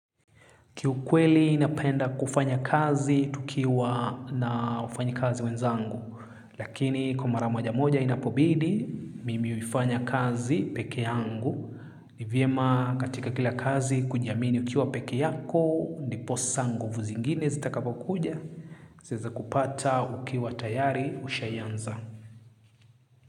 Kiukweli napenda kufanya kazi tukiwa na wafanyikazi wenzangu, lakini kwa mara maja moja inapobidi, mimi huifanya kazi pekee yangu. Ni vyema katika kila kazi kujiamini ukiwa pekee yako, ndiposa nguvu zingine zitakapokuja. Zaeza kupata ukiwa tayari ushayanza.